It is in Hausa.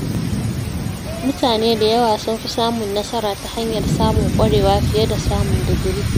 Mutane da yawa sun fi samun nasara ta hanyar samun ƙwarewa fiye da samun digiri.